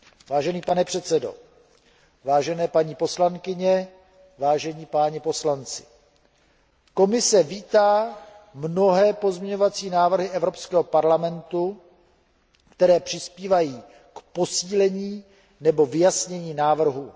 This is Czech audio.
Vážený pane předsedo, vážené paní poslankyně, vážení páni poslanci, Komise vítá mnohé pozměňovací návrhy Evropského parlamentu, které přispívají k posílení nebo vyjasnění návrhu.